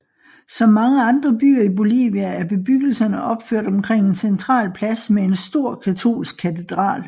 Som mange andre byer i Bolivia er bebyggelserne opført omkring en central plads med en stor katolsk katedral